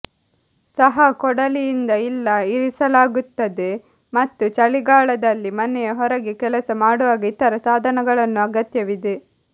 ಸಹ ಕೊಡಲಿಯಿಂದ ಇಲ್ಲ ಇರಿಸಲಾಗುತ್ತದೆ ಮತ್ತು ಚಳಿಗಾಲದಲ್ಲಿ ಮನೆಯ ಹೊರಗೆ ಕೆಲಸ ಮಾಡುವಾಗ ಇತರ ಸಾಧನಗಳನ್ನು ಅಗತ್ಯವಿದೆ